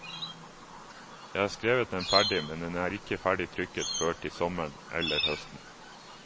Jeg har skrevet den ferdig, men den er ikke ferdig trykket før til sommeren eller høsten.